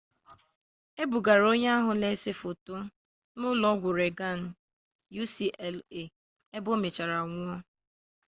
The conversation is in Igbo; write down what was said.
e bugara onye ahụ na-ese foto na ụlọ ọgwụ reagan ucla ebe o mechara nwụọ